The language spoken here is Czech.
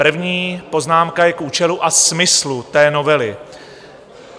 První poznámka je k účelu a smyslu té novely.